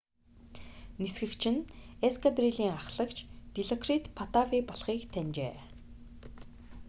нисгэгч нь эскадрилийн аххлагч дилокрит паттавий болохыг таньжээ